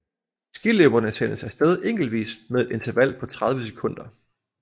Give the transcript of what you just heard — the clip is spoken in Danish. Skiløberne sendes af sted enkeltvis med et interval på 30 sekunder